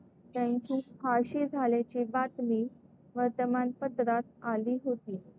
त्यांची फाशी झाल्याची बातमी वर्तमानपत्रात आली होती.